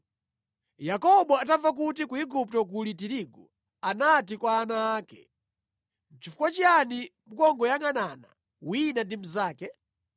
Yakobo atamva kuti ku Igupto kuli tirigu, anati kwa ana ake, “Nʼchifukwa chiyani mukungoyangʼanana wina ndi mnzake?